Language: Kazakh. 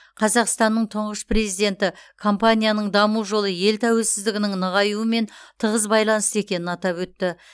қазақстанның тұңғыш президенті компанияның даму жолы ел тәуелсіздігінің нығаюымен тығыз байланысты екенін атап өтті